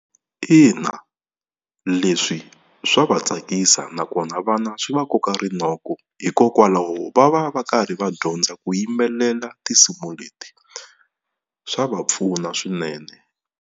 Ina, leswi swa va tsakisa nakona vana swi va koka rinoko hikokwalaho va va va karhi va dyondza ku yimbelela tinsimu leti swa va pfuna swinene.